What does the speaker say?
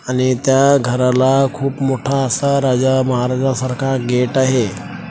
आणि त्या घराला खूप मोठा असा राजा महाराजा सारखा गेट आहे.